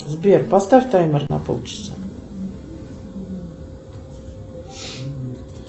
сбер поставь таймер на полчаса